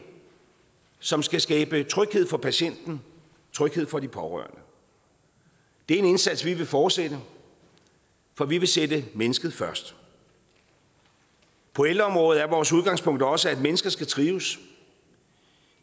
som skal skabe tryghed for patienten tryghed for de pårørende det er en indsats vi vil fortsætte for vi vil sætte mennesket først på ældreområdet er vores udgangspunkt også at mennesker skal trives